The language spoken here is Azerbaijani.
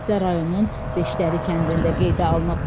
Hadisə rayonun Beşdəli kəndində qeydə alınıb.